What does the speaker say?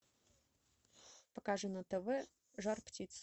покажи на тв жар птица